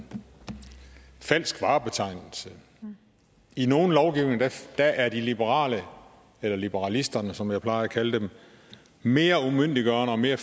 falsk varebetegnelse i nogle lovgivninger er er de liberale eller liberalisterne som jeg plejer at kalde dem mere umyndiggørende og mere